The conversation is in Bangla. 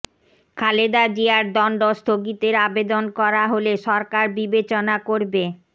খালেদা জিয়ার দণ্ড স্থগিতের আবেদন করা হলে সরকার বিবেচনা করবে